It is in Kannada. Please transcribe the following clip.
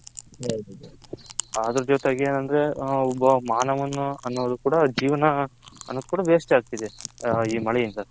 ಅದರ ಜೊತೆಗೆ ಏನಂದ್ರೆ ಒಬ್ಬ ಮನವನ ಒನೋದು ಕೂಡ ಜೇವನ ಅನ್ನೋದು ಕೂಡ waste ಆಗ್ತಿದೆ ಈ ಮಳೆ ಇಂದ .